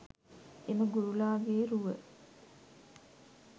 එම ගුරුලාගේ රුව